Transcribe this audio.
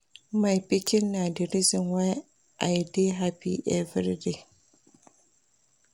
My pikin na di reason why I dey happy everyday.